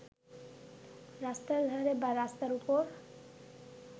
রাস্তার ধারে বা রাস্তার উপর